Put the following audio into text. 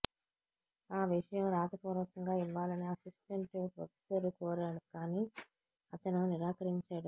ఆ విషయం రాతపూర్వకంగా ఇవ్వాలని అసిస్టెంట్ ప్రొఫెసర్ కోరాడు కానీ అతను నిరాకరించాడు